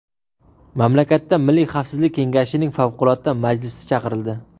Mamlakatda milliy xavfsizlik kengashining favqulodda majlisi chaqirildi .